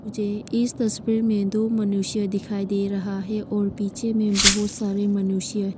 मुझे इस तस्वीर में दो मनुष्य दिखाई दे रहा है और पीछे में बहुत सारे मनुष्य--